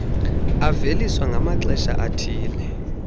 aveliswa ngamaxesha athile